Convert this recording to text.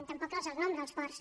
tampoc ens els anomena els ports